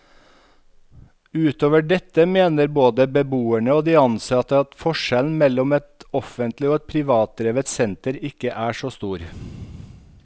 Utover dette mener både beboerne og de ansatte at forskjellen mellom et offentlig og et privatdrevet senter ikke er så stor.